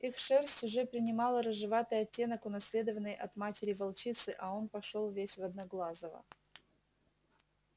их шерсть уже принимала рыжеватый оттенок унаследованный от матери волчицы а он пошёл весь в одноглазого